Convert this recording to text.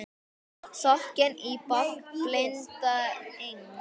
Sokkinn í bálk blinda Eng